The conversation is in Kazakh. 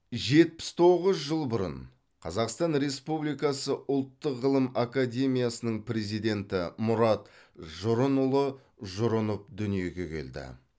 жетпіс тоғыз жыл бұрын қазақстан республикасы ұлттық ғылым академиясының президенті мұрат жұрынұлы жұрынов дүниеге келді